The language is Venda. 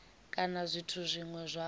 kana zwithu zwine zwa vha